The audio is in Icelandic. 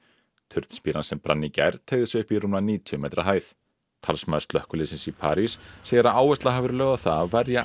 turnspíran sem brann í gær teygði sig upp í rúmlega níutíu metra hæð talsmaður slökkviliðsins í París segir að áhersla hafi verið lögð á það að verja